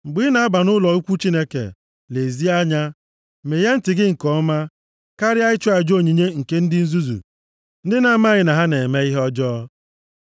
Mgbe ị na-aba nʼụlọ ukwu Chineke, lezie anya. Meghee ntị gị nke ọma, karịa ịchụ aja onyinye nke ndị nzuzu, ndị na-amaghị na ha na-eme ihe ọjọọ.